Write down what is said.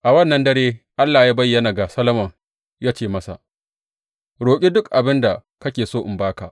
A wannan dare Allah ya bayyana ga Solomon, ya ce masa, Roƙi duk abin da kake so in ba ka.